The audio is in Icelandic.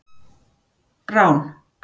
Rán